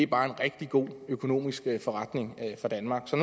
bare er en rigtig god økonomisk forretning for danmark så